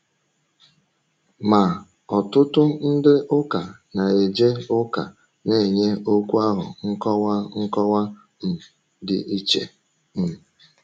Ma, ọtụtụ ndị ụka na-eje ụka na-enye okwu ahụ nkọwa nkọwa um dị iche. um